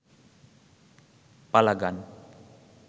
পালা গান